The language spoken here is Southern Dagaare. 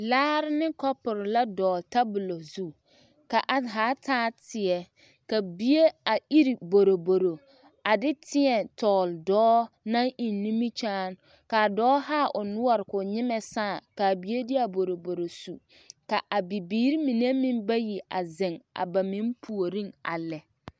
Laare ne kɔpuri la tabulɔ tabulɔ zu ka a zaa taa teɛ ka bie taa boroboro a de tēɛtɔɔle dɔɔ naŋ eŋ nimikyaane ka a dɔɔ haa o noɔre ka o nyemɛ sãã ka a bie de a boroboro su ka a biiri mine meŋ bayi a zeŋ a ba meŋ puoriŋ a lɛ.